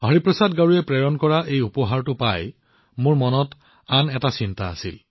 হৰিপ্ৰসাদ গাৰুৰ দ্বাৰা পঠিওৱা এই উপহাৰটো পাই মোৰ মনলৈ আন এটা চিন্তা আহিল